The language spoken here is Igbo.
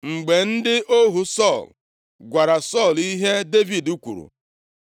Mgbe ndị ohu Sọl gwara Sọl ihe Devid kwuru,